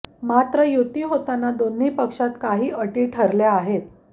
मात्र युती होताना दोन्ही पक्षात काही अटी ठरल्या आहेत